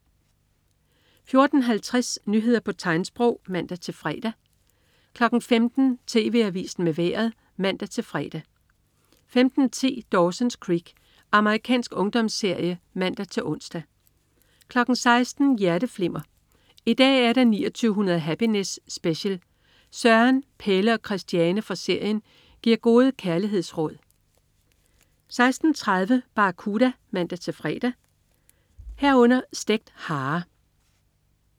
14.50 Nyheder på tegnsprog (man-fre) 15.00 TV Avisen med Vejret (man-fre) 15.10 Dawson's Creek. Amerikansk ungdomsserie (man-ons) 16.00 Hjerteflimmer. I dag er der 2900 Happiness Special! Søren, Pelle og Christiane fra serien giver gode kærlighedsråd 16.30 Barracuda (man-fre) 16.30 Stegt hare